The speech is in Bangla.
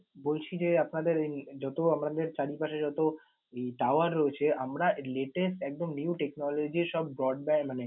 বলছি যে আপনাদের ওই যত আমাদের চারিপাশে যত আহ tower রয়েছে আমরা latest একদম new technology সব brond মানে